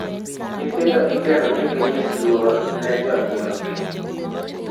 Nyithindo igeno ni ginyis luor ne jonyuolgi,